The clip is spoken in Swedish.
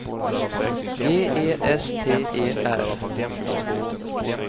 G E S T E R